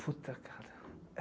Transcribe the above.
Puta, cara.